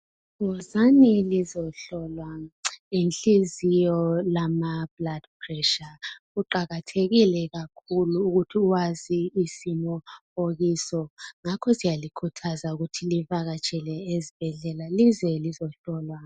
Wozani lizohlolwa inhliziyo lama blood pressure. Kuwakathekile kakhulu ukuthi wazi isimo okuso yikho silikhuthaza ukuthi lize ezibhedlela lize lizohlolwa.